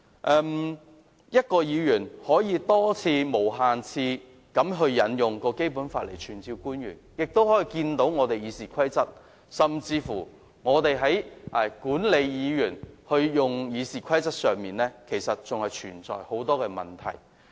若一名議員可以無限次引用《基本法》傳召官員，可見《議事規則》或管理議員使用《議事規則》的情況上，仍然存在很多問題。